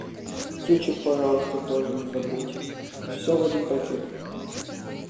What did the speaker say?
кетчуп пожалуйста тоже не забудь все в один пакет